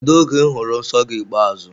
Kedụ oge I hụrụ nsọ gị ikpeazụ?